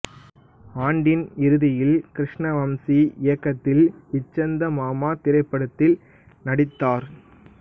ஆண்டின் இறுதியில் கிருஷ்ண வம்சி இயக்கத்தில் ச்சந்தமாமா திரைப்படத்தில் நடித்தார்